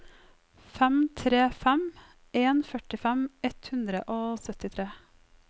fem tre fem en førtifem ett hundre og syttitre